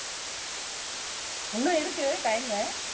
இன்னும் இருக்கு time உ